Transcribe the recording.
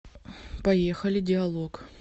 поехали диалог